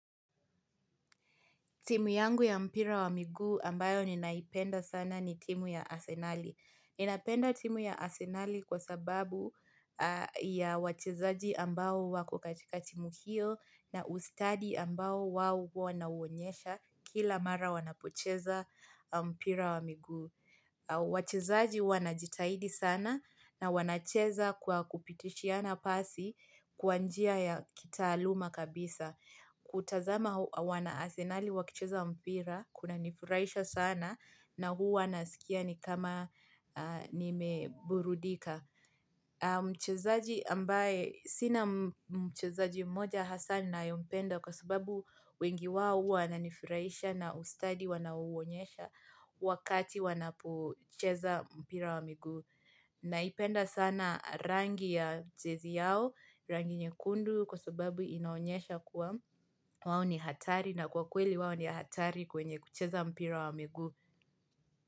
Timu yangu ya mpira wa miguu ambayo ninaipenda sana ni timu ya asenali. Ninapenda timu ya asenali kwa sababu ya wachezaji ambao wako katika timu hiyo na ustadi ambao wao huwa wanauonyesha kila mara wanapocheza mpira wa miguu. Wachezaji wanajitahidi sana na wanacheza kwa kupitishiana pasi kwa njia ya kitaaluma kabisa. Kutazama wana asenali wakicheza mpira kunanifurahisha sana na huwa nasikia ni kama nimeburudika Mchezaji ambaye sina mchezaji mmoja hasa ni ninayempenda kwa sababu wengi wao huwa wananifurahisha na ustadi wanauonyesha wakati wanapocheza mpira wa miguu Naipenda sana rangi ya jezi yao, rangi nyekundu kwa sababu inaonyesha kuwa wao ni hatari na kwa kweli wao ni hatari kwenye kucheza mpira wa miguu.